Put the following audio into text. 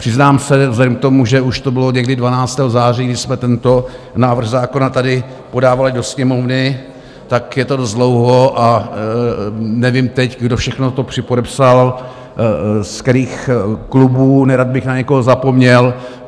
Přiznám se vzhledem k tomu, že už to bylo někdy 12. září, když jsme tento návrh zákona tady podávali do Sněmovny, tak je to dost dlouho a nevím teď, kdo všechno to připodepsal, z kterých klubů, nerad bych na někoho zapomněl.